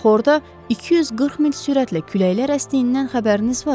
Axı orada 240 mil sürətlə küləklər əsdiyindən xəbəriniz var?